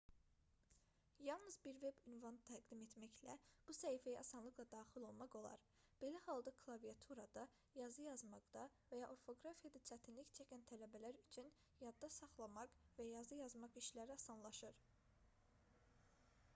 yalnız bir veb ünvan təqdim etməklə bu səhifəyə asanlıqla daxil olmaq olar belə halda klaviaturada yazı yazmaqda və ya orfoqrafiyada çətinlik çəkən tələbələr üçün yadda saxlamaq və yazı yazmaq işləri asanlaşır